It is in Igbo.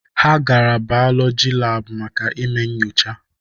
Ha gara bọyọlọjị laabụ maka ime nchọcha.